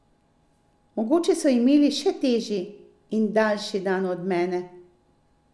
Mogoče so imeli še težji in daljši dan od mene?